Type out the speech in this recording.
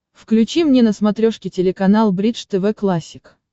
включи мне на смотрешке телеканал бридж тв классик